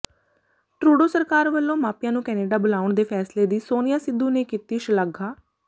Trudeau ਸਰਕਾਰ ਵੱਲੋਂ ਮਾਪਿਆਂ ਨੂੰ ਕੈਨੇਡਾ ਬੁਲਾਉਣ ਦੇ ਫੈਸਲੇ ਦੀ ਸੋਨੀਆ ਸਿੱਧੂ ਨੇ ਕੀਤੀ ਸ਼ਲਾਘਾ